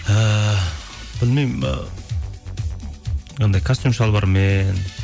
ііі білмеймін і анандай костюм шалбармен